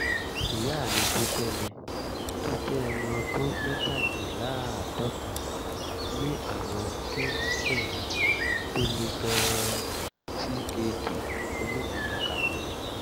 ìyá mi tó jẹ́ mi tó jẹ́ ẹni ọdún mẹ́tàdínláàádọ́ta ní àrùn kíndìnrín tó le gan-an (ckd) onípele karùn-ún